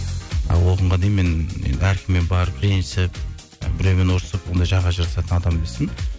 дейін мен әркіммен барып ренжісіп біреумен ұрысып ондай жаға жыртысатын адам емеспін